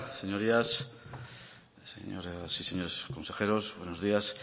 señorías señoras y señores consejeros buenos días